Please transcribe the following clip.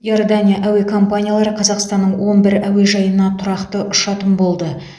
иордания әуе компаниялары қазақстанның он бір әуежайына тұрақты ұшатын болды